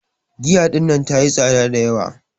Giya ɗinnan ta yi tsaɗa da yawa.